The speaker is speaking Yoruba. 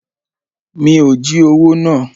Mi ò jí owó náà.